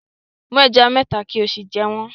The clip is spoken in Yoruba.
Mú ẹja mẹ́ta kí o sì jẹ wọ́n